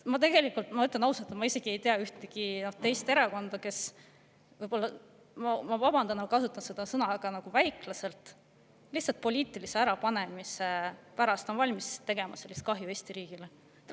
Ma ütlen ausalt, et ma ei tea ühtegi teist erakonda, kes nii – ma vabandan, et ma kasutan seda – väiklaselt lihtsalt poliitilise ärapanemise pärast on valmis tegema sellist kahju Eesti riigile.